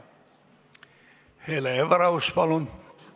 Hele Everaus, palun!